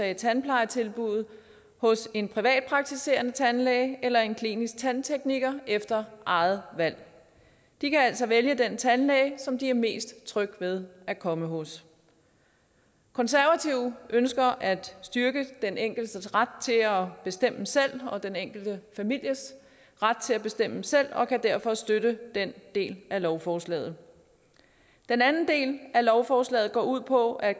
af tandplejetilbuddet hos en privatpraktiserende tandlæge eller en klinisk tandtekniker efter eget valg de kan altså vælge den tandlæge som de er mest trygge ved at komme hos konservative ønsker at styrke den enkeltes ret til at bestemme selv og den enkelte families ret til at bestemme selv og kan derfor støtte den del af lovforslaget den anden del af lovforslaget går ud på at